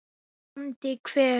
BÓNDI: Hver?